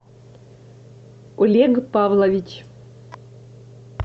олег павлович